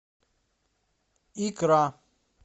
икра